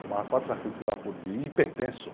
Fumava quatro carteiras de cigarro por dia e hipertenso.